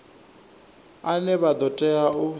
ane vha ḓo tea u